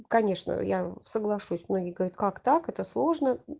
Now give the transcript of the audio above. конечно я соглашусь многие говорят как так это же сложно